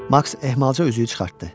Maks ehmalca üzüyü çıxartdı.